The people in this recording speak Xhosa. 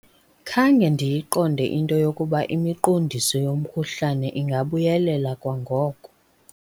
Khange ndiyiqonde into yokuba imiqondiso yomkhuhlane ingabuyelela kwangoko.